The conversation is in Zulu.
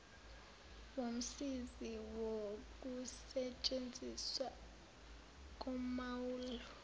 womsizi wokusetshenziswa komaulu